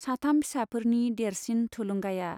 साथाम फिसाफोरनि देरसिन थुलुंगाया।